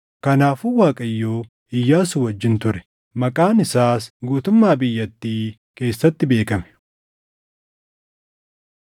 Kanaafuu Waaqayyo Iyyaasuu wajjin ture; maqaan isaas guutummaa biyyatii keessatti beekame.